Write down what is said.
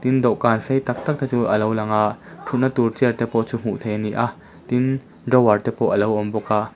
dawhkan sei tak tak te chu a lo lang a thutna tur chair te chu hmuh theih a ni a tin drawer te pawh a lo awm bawk a.